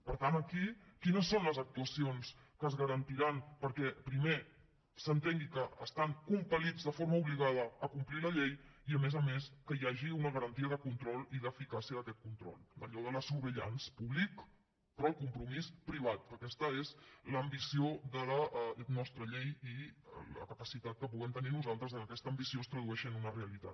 per tant aquí quines són les actuacions que es garantiran perquè primer s’entengui que estan compela més que hi hagi una garantia de control i d’eficàcia d’aquest control allò de la surveillance publique però el compromís privat que aquesta és l’ambició de la nostra llei i la capacitat que puguem tenir nosaltres que aquesta ambició es tradueixi en una realitat